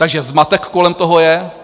Takže zmatek kolem toho je.